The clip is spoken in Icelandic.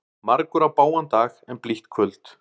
Margur á bágan dag en blítt kvöld.